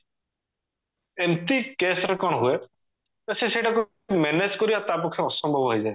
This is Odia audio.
ଏମତି case ରେ କଣ ହୁଏ ନା ସିଏ ସେଟାକୁ manage କରିବା ତା ପକ୍ଷେ ଅସମ୍ଭବ ହେଇଯାଏ